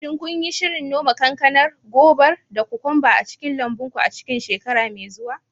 Shin kun yi shirin noma kankanar, gobar, da kokwambar a cikin lambun ku a cikin shekara mai zuwa?